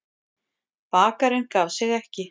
Bakarinn gaf sig ekki.